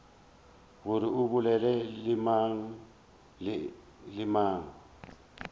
gore o bolela le mang